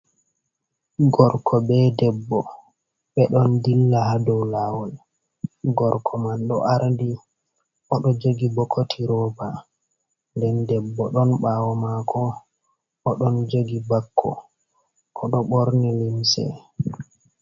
Gorko be debbo, be ɗon dilla ha dou lawol, gorko man ɗo ardi, o ɗo jogi bokoti roba. Nden debbo don ɓaawo maako, o don jogi bakko. O ɗo ɓorni limse.